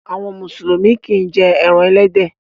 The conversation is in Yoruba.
Àwọn Mùsùlùmí kì í jẹ ẹran ẹlẹ́dẹ̀